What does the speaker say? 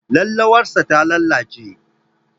Laulawarsa ta lalace.